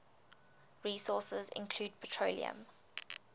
resources include petroleum